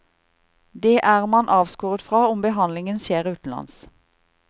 Det er man avskåret fra om behandlingen skjer utenlands.